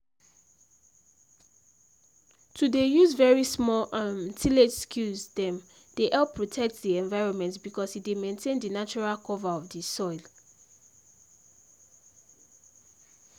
to dey use very small um tillage skills dem dey help protect the environment because e dey maintain the natural cover of the soil